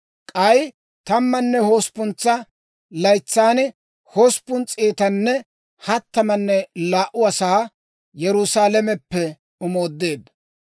K'ay tammanne hosppuntsa laytsan hosppun s'eetanne hattamanne laa"u asaa Yerusaalameppe omoodeedda.